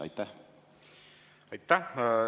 Aitäh!